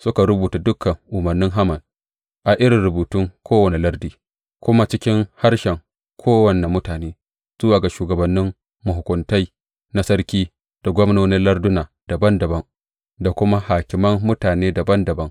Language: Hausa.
Suka rubuta dukan umarnin Haman a irin rubutun kowane lardi, kuma cikin harshen kowane mutane, zuwa ga shugabannin mahukuntai na sarki, da gwamnonin larduna dabam dabam, da kuma hakiman mutane dabam dabam.